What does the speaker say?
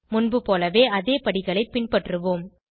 முன்புபோலவே அதே படிகளை பின்பற்றுவோம்